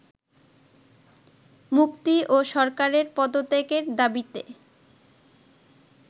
মুক্তি ও সরকারের পদত্যাগের দাবীতে